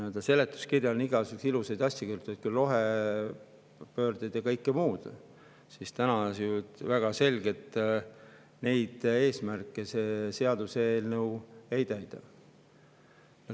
Seletuskirja on igasuguseid ilusaid asju kirjutatud, küll rohepööre ja kõike muud, aga täna on väga selge, et neid eesmärke see seadus ei täida.